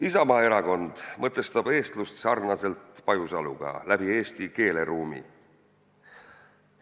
Isamaa Erakond mõtestab eestlust sarnaselt Pajusaluga läbi eesti keeleruumi.